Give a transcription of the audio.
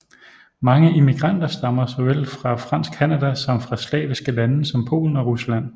Mange immigranter stammer såvel fra fransk Canada som fra slaviske lande som Polen og Rusland